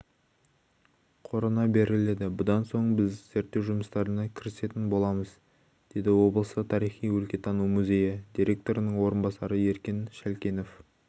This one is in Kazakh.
қорына беріледі бұдан соң біз зерттеу жұмыстарына кірісетін боламыз дедіоблыстық тарихи-өлкетану музейі директорының орынбасарыеркен шалкенов